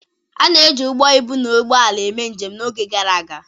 A na-eji ụgbọ ibu na ụgbọ ala eme njem n'oge gara aga.